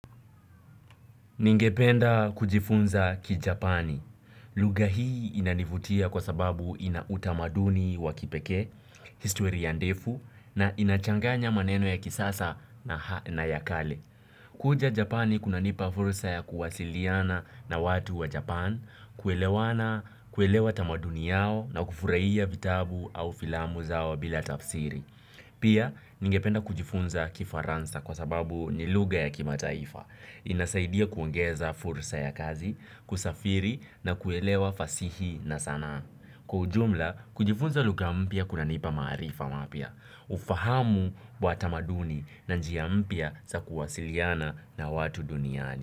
Ningependa kujifunza Kijapani. Lugha hii inanivutia kwa sababu ina utamaduni wa kipekee, historia ndefu na inachanganya maneno ya kisasa na ya kale. Kuja Japani kunanipa fursa ya kuwasiliana na watu wa Japan, kuelewana, kuelewa tamaduni yao na kufurahia vitabu au filamu zao bila tafsiri. Pia, ningependa kujifunza Kifaransa kwa sababu ni lugha ya kimataifa. Inasaidia kuongeza fursa ya kazi, kusafiri na kuelewa fasihi na sanaa. Kwa ujumla, kujifunza lugha mpya kunanipa maarifa mapya. Ufahamu wa tamaduni na njia mpya za kuwasiliana na watu duniani.